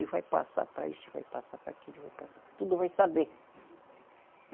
E vai passar para esse, vai passar para aquele, tudo vai saber.